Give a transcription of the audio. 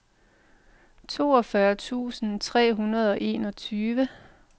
toogfyrre tusind tre hundrede og enogtyve